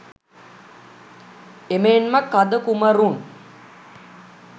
එමෙන්ම කඳ කුමරුන්